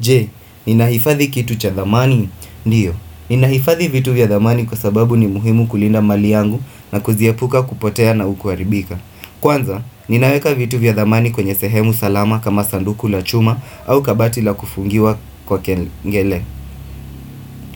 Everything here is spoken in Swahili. Je Ninaifadhi kitu cha dhamani? Ndiyo. Ninaifadhi vitu vya dhamani kwa sababu ni muhimu kulinda mali yangu na kuziepuka kupotea na kuharibika. Kwanza, ninaweka vitu vya dhamani kwenye sehemu salama kama sanduku la chuma au kabati la kufungiwa kwa kengele.